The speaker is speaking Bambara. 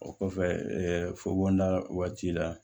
O kɔfɛ fokon da waati la